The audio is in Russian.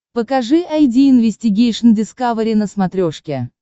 покажи айди инвестигейшн дискавери на смотрешке